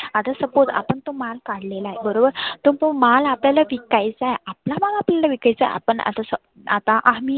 आता suppose आपण तो माल काढलेला आहे. बरोबर तो माल आपल्याला विकायचा आहे आपला माल अपल्याला विकायचा, आपण आत स आता आम्ही